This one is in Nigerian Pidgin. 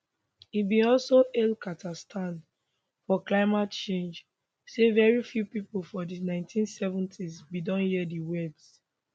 e bin also hail carter stand for climate change say very few pipo for di 1970s bin don hear di words